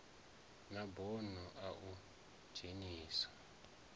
na bono a u dzhenisa